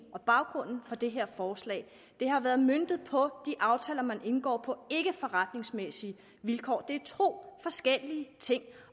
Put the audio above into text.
og baggrunden for det her forslag det har været møntet på de aftaler som man indgår på ikkeforretningsmæssige vilkår det er to forskellige ting